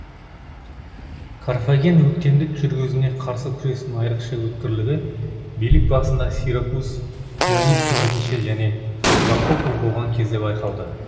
карфаген өктемдік жүргізуіне қарсы күрестің айрықша өткірлігі билік басында сиракуз дионисии бірінші және агафокл болған кезде байқалды